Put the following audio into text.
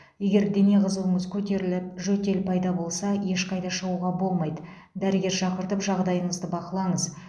егер дене қызуыңыз көтеріліп жөтел пайда болса ешқайда шығуға болмайды дәрігер шақыртып жағдайыңызды бақылаңыз